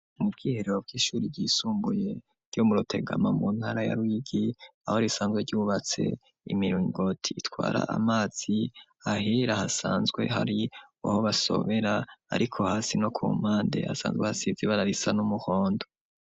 Mu bwiherero bw'ishure ryisumbuye ryo mu rutegama mu ntara ya ruyigi aho risanzwe ryubatse imiringoti itwara amazi ahera hasanzwe hari waho basobera ariko hasi no ku mpande asanzwe hasize iibara risa n'umuhondo.